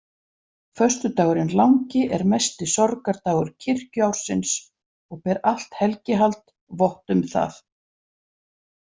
Föstudagurinn langi er mesti sorgardagur kirkjuársins og ber allt helgihald vott um það.